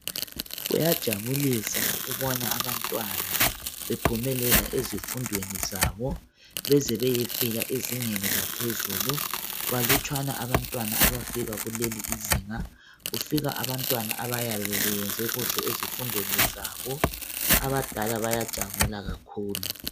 Kuyajabulisa ukubona abantwana bephumelela ezifundweni zabo beze bayefika ezingeni laphezuku. Balutshwana abantwana abafika kulelizinga, kufika abantwana abayabe beyenze kahle ezifundweni zabo. Abadala bayajabula kakhulu.